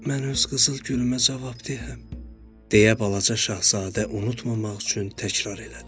Mən öz qızıl gülümbə cavabdehəm, deyə balaca şahzadə unutmamaq üçün təkrarladı.